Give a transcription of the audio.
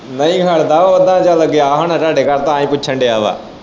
ਨਹੀਂ ਖੜਦਾ ਉਹ ਜਦੋਂ ਤੁਹਾਡੇ ਘਰ ਤਾਂ ਪੁੱਛਣ ਦਿਆ ਵਾ।